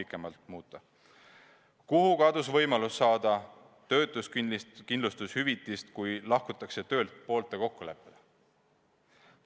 Kuhu kadus lubatud võimalus saada töötuskindlustushüvitist, kui lahkutakse töölt poolte kokkuleppel?